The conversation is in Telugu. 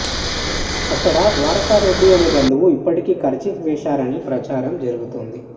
అక్కడ ద్వారకనాథ్ రెడ్డి అనే బంధువు ఇప్పటికే కర్చీఫ్ వేసేశారని ప్రచారం జరుగుతోంది